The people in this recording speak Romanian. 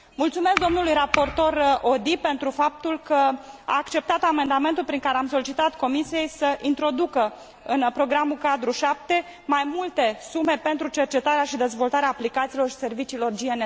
Mulțumesc domnului raportor Audy pentru faptul că a acceptat amendamentul prin care am solicitat Comisiei să introducă în Programul cadru 7 mai multe sume pentru cercetarea și dezvoltarea aplicațiilor și serviciilor GNSS.